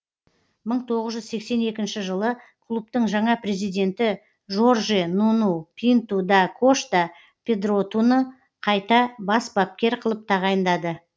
мың тоғыз жүз сексен екінші жылы клубтың жаңа президенті жорже нуну пинту да кошта педротуны қайта бас бапкер қылып тағайындады